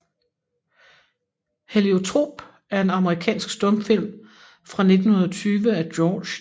Heliotrop er en amerikansk stumfilm fra 1920 af George D